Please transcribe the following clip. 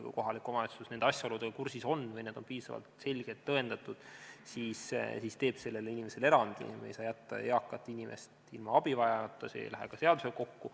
Kui omavalitsus on asjaoludega kursis või need on piisavalt selgelt tõendatud, siis saab ta teha sellele inimesele erandi, sest me ei saa jätta eakat inimest ilma abita, see ei lähe ka seadusega kokku.